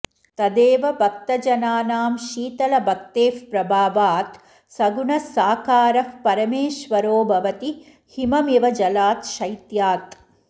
तदेव भक्तजनानां शीतल भक्तेः प्रभावात् सगुणः साकारः परमेश्वरो भवति हिममिव जलात् शैत्यात्